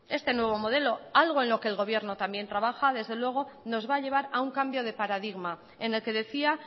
este nuevo modelo algo en lo que el gobierno también trabaja desde luego nos va a llevar a un cambio de paradigma en el que decía